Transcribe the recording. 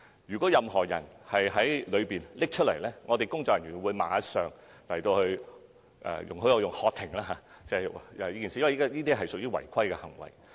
如果任何人在投票間取出器材，工作人員會立刻"喝停"——請容許我採用這一詞，因為這屬違規行為。